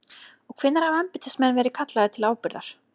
Og hvenær hafa embættismenn verið kallaðir til ábyrgðar?